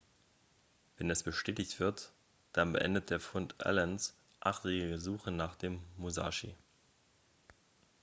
wenn es bestätigt wird dann beendet der fund allens achtjährige suche nach dem musashi